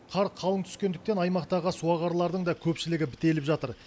қар қалың түскендіктен аймақтағы суағарлардың да көпшілігі бітеліп жатыр